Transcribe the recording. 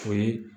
O ye